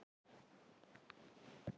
Það var það versta.